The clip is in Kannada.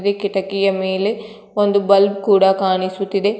ಇಲ್ಲಿ ಕಿಟಕಿಯ ಮೇಲೆ ಒಂದು ಬಲ್ಪ್ ಕೂಡ ಕಾಣಿಸುತಿದೆ.